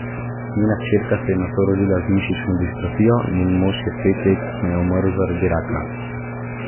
Njena hčerka se je nato rodila z mišično distrofijo, njen mož je pet let kasneje umrl zaradi raka.